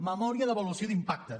memòria d’avaluació d’impacte